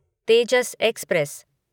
Tejas express